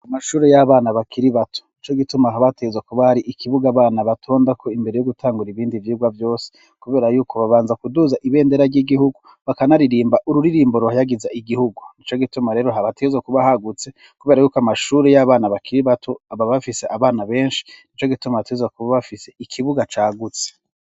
Amashuri y'abana bakiri bato nico gituma haba hategezwa kuba hari ikibuga abana batondako imbere yo gutangura ibindi vyigwa vyose kubera yuko babanza kuduza ibendera ry'igihugu bakanaririmba ururirimbo ruhayagiza igihugu nico gituma rero haba teza kuba hagutse kubera y'uko amashuri y'abana bakiri bato baba bafise abana beshi nico gituma bateza kuba bafise ikibuga cagutse.